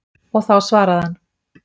Og þá svaraði hann.